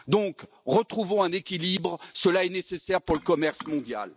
Donc, retrouvons un équilibre, cela est nécessaire pour le commerce mondial.